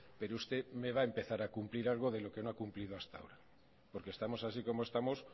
pero usted me va a empezar a cumplir algo de lo que no ha cumplido hasta ahora porque estamos así como estamos